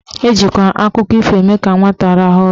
Ejikwa akụkọ ifo eme ka nwata rahụọ ụra.